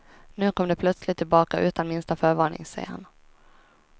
Nu kom det plötsligt tillbaka utan minsta förvarning, säger han.